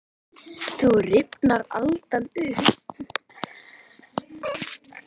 Þá rifnar aldan upp.